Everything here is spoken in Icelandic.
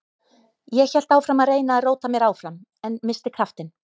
Ég hélt áfram að reyna að róta mér áfram en missti kraftinn.